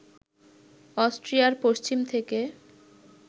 অস্ট্রিয়ার পশ্চিম থেকে